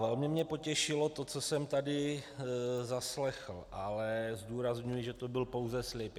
Velmi mě potěšilo to, co jsem tady zaslechl, ale zdůrazňuji, že to byl pouze slib.